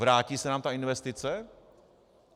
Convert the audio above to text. Vrátí se nám ta investice?